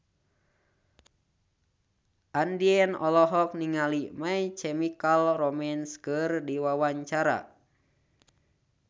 Andien olohok ningali My Chemical Romance keur diwawancara